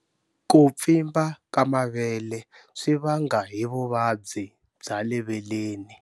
Ku pfimba ka mavele swi vanga hi vuvabyi bya le veleni.